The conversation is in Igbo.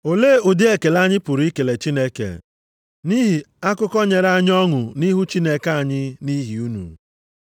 Olee ụdị ekele anyị pụrụ ikele Chineke nʼihi akụkọ nyere anyị ọṅụ nʼihu Chineke anyị nʼihi unu.